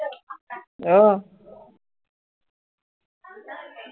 আহ